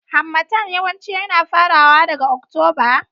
Harmattan yawanci yana farawa daga Oktoba.